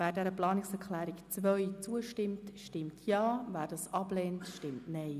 Wer der Planungserklärung 2 zustimmt, stimmt Ja, wer diese ablehnt nein.